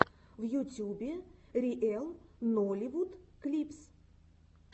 в ютюбе риэл нолливуд клипс